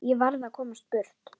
Ég varð að komast burt.